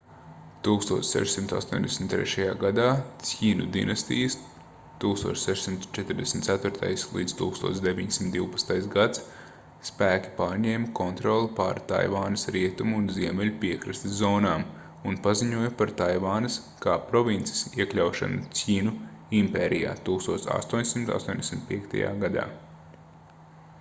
1683. gadā cjinu dinastijas 1644.-1912. gads spēki pārņēma kontroli pār taivānas rietumu un ziemeļu piekrastes zonām un paziņoja par taivānas kā provinces iekļaušanu cjinu impērijā 1885. gadā